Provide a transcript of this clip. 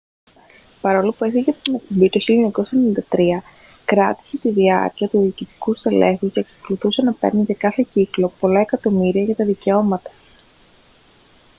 παρόλο που έφυγε από την εκπομπή το 1993 κράτηση την διάκριση του διοικητικού στελέχους και εξακολουθούσε να παίρνει για κάθε κύκλο πολλά εκατομμύρια για τα δικαιώματα